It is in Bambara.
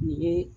Nin ye